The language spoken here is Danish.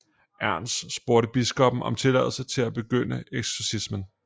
Ernst spurgte biskoppen om tilladelse til at begynde eksorcismen